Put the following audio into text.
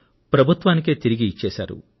ప్రభుత్వానికే తిరిగి ఇచ్చేశారు